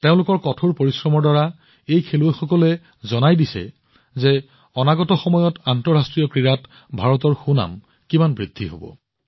তেওঁলোকৰ কঠোৰ পৰিশ্ৰমৰ দ্বাৰা এই খেলুৱৈসকলে দেখুৱাইছে যে অনাগত সময়ত আন্তঃৰাষ্ট্ৰীয় ক্ৰীড়াত ভাৰতৰ বিশ্বাসযোগ্যতা কিমান বৃদ্ধি হব